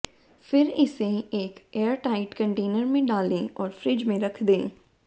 फिर इसे एक एयरटाइट कंटेनर में डालें और फ्रिज में रख दें